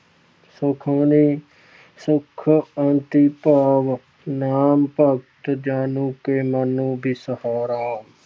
ਸੁਖਮਨੀ ਸੁਖ ਅੰਮ੍ਰਿਤ ਪ੍ਰਭ ਨਾਮੁ ॥ ਭਗਤ ਜਨਾ ਕੈ ਮਨਿ ਬਿਸ੍ਰਾਮ ॥ਰਹਾਉ॥